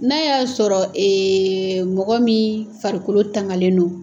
N'a y'a sɔrɔ mɔgɔ min farikolo tangalen don.